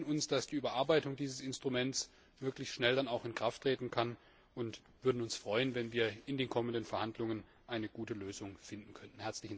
Wir wünschen uns, dass die Überarbeitung dieses Instruments wirklich schnell dann auch in Kraft treten kann, und würden uns freuen, wenn wir in den kommenden Verhandlungen eine gute Lösung finden könnten.